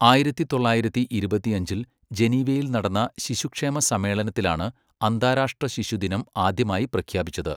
ആയിരത്തി തൊള്ളായിരത്തി ഇരുപത്തിയഞ്ചിൽ ജനീവയിൽ നടന്ന ശിശുക്ഷേമ സമ്മേളനത്തിലാണ് അന്താരാഷ്ട്ര ശിശുദിനം ആദ്യമായി പ്രഖ്യാപിച്ചത്.